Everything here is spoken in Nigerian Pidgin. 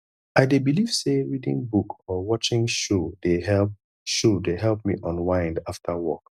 i dey believe say reading book or watching show dey help show dey help me unwind after work